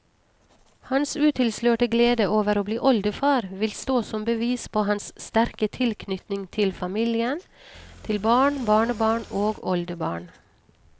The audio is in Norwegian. Hans utilslørte glede over å bli oldefar vil stå som bevis på hans sterke tilknytning til familien, til barn, barnebarn og oldebarn.